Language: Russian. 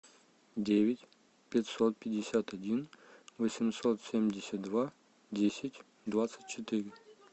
девять пятьсот пятьдесят один восемьсот семьдесят два десять двадцать четыре